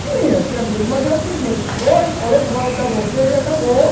Tinha, tinha amigo, mas é o seguinte, oi, falou como você e acabou,